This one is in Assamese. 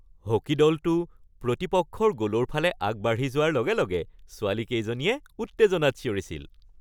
হকী দলটো প্ৰতিপক্ষৰ গ’লৰ ফালে আগবাঢ়ি যোৱাৰ লগে লগে ছোৱালীকেইজনীয়ে উত্তেজনাত চিঞৰিছিল।